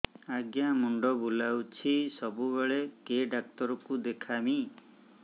ଆଜ୍ଞା ମୁଣ୍ଡ ବୁଲାଉଛି ସବୁବେଳେ କେ ଡାକ୍ତର କୁ ଦେଖାମି